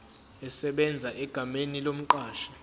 esebenza egameni lomqashi